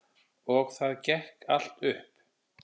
Og það gekk allt upp.